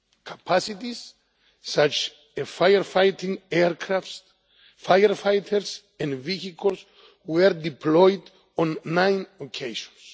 Capacities such as firefighting aircraft, firefighters and vehicles were deployed on nine occasions.